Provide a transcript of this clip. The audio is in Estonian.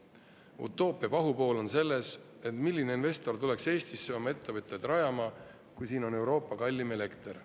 Utoopia pahupool on selles, et milline investor tuleks Eestisse oma ettevõtteid rajama, kui siin on Euroopa kallim elekter?